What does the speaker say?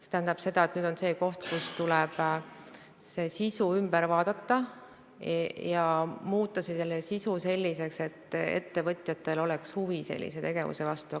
See tähendab seda, et nüüd tuleb sisu üle vaadata ja muuta see selliseks, et ettevõtjatel oleks selle tegevuse vastu huvi.